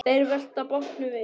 Þeir velta bátnum við.